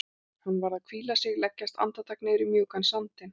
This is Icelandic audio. Hún varð að hvíla sig, leggjast andartak niður í mjúkan sandinn.